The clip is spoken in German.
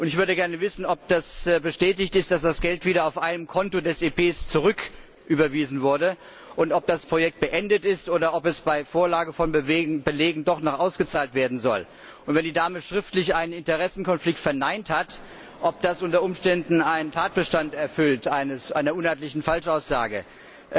Ich würde gerne wissen, ob es bestätigt ist, dass das Geld wieder auf ein Konto des EP zurücküberwiesen wurde, und ob das Projekt beendet ist, oder ob das Geld bei Vorlage von Belegen doch noch ausgezahlt werden soll, und wenn die Dame schriftlich einen Interessenkonflikt verneint hat, ob das unter Umständen den Tatbestand einer uneidlichen Falschaussage erfüllt.